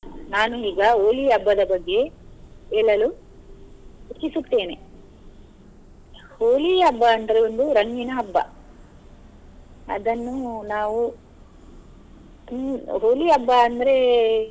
ನಾನು ಈಗ Holi ಹಬ್ಬದ ಬಗ್ಗೆ ಹೇಳಲು ಇಚ್ಛಿಸುತ್ತೇನೆ Holi ಹಬ್ಬ ಅಂದ್ರೆ ಒಂದು ರಂಗಿನ ಹಬ್ಬ ಅದನ್ನು ನಾವು Holi ಹಬ್ಬ ಅಂದ್ರೆ.